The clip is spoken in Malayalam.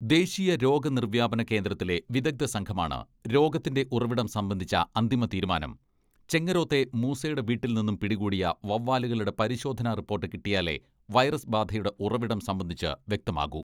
ദേശീയ രോഗനിർവ്യാപന കേന്ദ്രത്തിലെ വിദഗ്ധ സംഘമാണ് രോഗത്തിന്റെ ഉറവിടം സംബന്ധിച്ച അന്തിമ തീരുമാനം ചെങ്ങരോത്തെ മൂസയുടെ വീട്ടിൽ നിന്നും പിടികൂടിയ വവ്വാലുകളുടെ പരിശോധന റിപ്പോട്ട് കിട്ടിയാലേ വൈറസ് ബാധയുടെ ഉറവിടം സംബന്ധിച്ച് വ്യക്തമാകൂ.